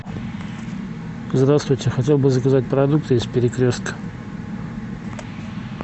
здравствуйте хотел бы заказать продукты из перекрестка